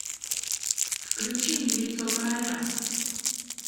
включи мне лицо короля